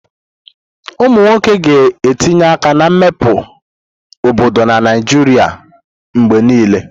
Ụmụ nwoke ga na-etinye aka na mmepe obodo na Naijiria mgbe niile.